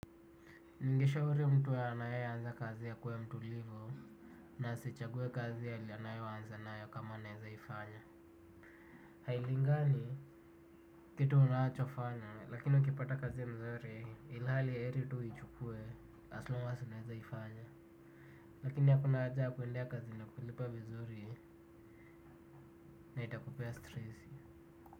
Ningeshauri mtu anaeanza kazi akuwe mtulivu na asichague kazi alionayo aanze na yo kama anaeza ifanya. Hailingani kitu unachofanya lakini ukipata kazi mzuri ilhali heri tu uichukue as long as unaeza ifanya. Lakini hakuna haja ya kuendea kazi yenye inakulipa vizuri na itakupea stresi.